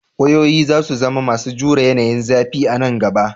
Wayoyi za su zama masu jure yanayin zafi a nan gaba.